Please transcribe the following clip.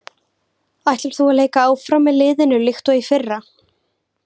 Ætlar þú að leika áfram með liðinu líkt og í fyrra?